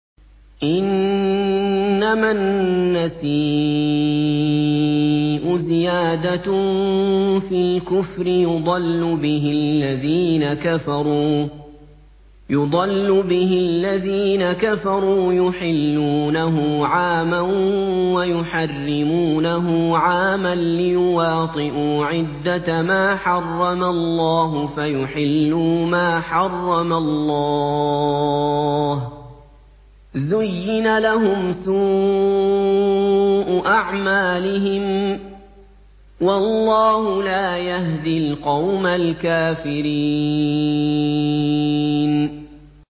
إِنَّمَا النَّسِيءُ زِيَادَةٌ فِي الْكُفْرِ ۖ يُضَلُّ بِهِ الَّذِينَ كَفَرُوا يُحِلُّونَهُ عَامًا وَيُحَرِّمُونَهُ عَامًا لِّيُوَاطِئُوا عِدَّةَ مَا حَرَّمَ اللَّهُ فَيُحِلُّوا مَا حَرَّمَ اللَّهُ ۚ زُيِّنَ لَهُمْ سُوءُ أَعْمَالِهِمْ ۗ وَاللَّهُ لَا يَهْدِي الْقَوْمَ الْكَافِرِينَ